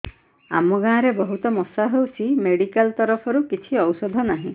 ଆମ ଗାଁ ରେ ବହୁତ ମଶା ହଉଚି ମେଡିକାଲ ତରଫରୁ କିଛି ଔଷଧ ନାହିଁ